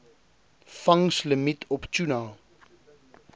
vangslimiet op tuna